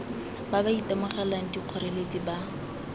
ba ba itemogelang dikgoreletsi ba